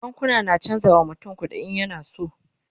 bankuna na chanza wa mutum kuɗi in yana so